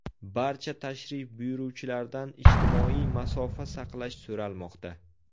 Barcha tashrif buyuruvchilardan ijtimoiy masofa saqlash so‘ralmoqda.